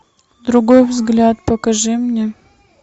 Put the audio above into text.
другой взгляд покажи мне